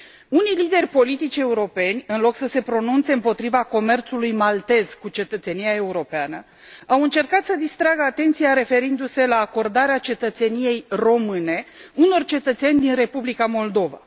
Unii lideri politici europeni, în loc să se pronunțe împotriva comerțului maltez cu cetățenia europeană, au încercat să distragă atenția, referindu se la acordarea cetățeniei române unor cetățeni din Republica Moldova.